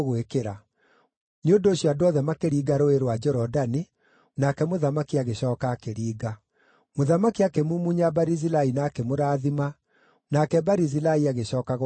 Nĩ ũndũ ũcio andũ othe makĩringa Rũũĩ rwa Jorodani, nake mũthamaki agĩcooka akĩringa. Mũthamaki akĩmumunya Barizilai na akĩmũrathima, nake Barizilai agĩcooka gwake mũciĩ.